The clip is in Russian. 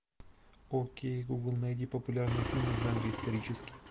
окей гугл найди популярные фильмы в жанре исторический